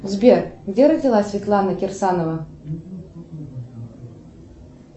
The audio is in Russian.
сбер где родилась светлана кирсанова